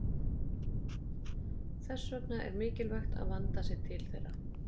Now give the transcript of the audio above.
Þess vegna er mikilvægt að vandað sé til þeirra.